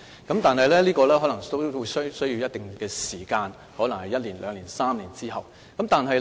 但是，這可能需要一定時間，可能是一年、兩年或3年後。